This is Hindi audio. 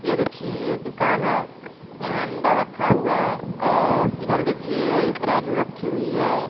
ये देखिये ये दुकान है यहां अंडा रखा हुआ है और इधर देखिये ये तराज़ू रखी हुई है